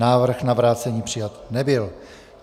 Návrh na vrácení přijat nebyl.